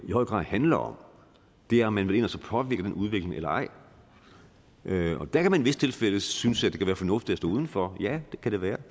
i høj grad handler om er om man vil ind og påvirke den udvikling eller ej og der kan man i visse tilfælde synes at det kan være fornuftigt at stå uden for ja det kan det være i